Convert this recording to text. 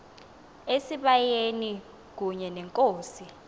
esibayeni kunye nenkosi